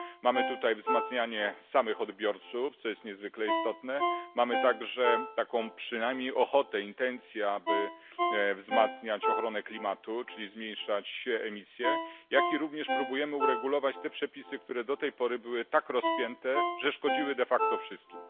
Mamy tutaj wzmacnianie samych odbiorców, co jest niezwykle istotne, mamy także taką przynajmniej ochotę, intencję, aby wzmacniać ochronę klimatu, czyli zmniejszać emisje, jak również próbujemy uregulować te przepisy, które do tej pory były tak rozpięte, że szkodziły de facto wszystkim.